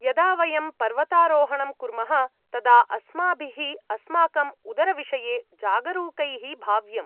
यदा वयं पर्वतारोहणं कुर्मः तदा अस्माभिः अस्माकं उदरविषये जागरूकैः भाव्यम्।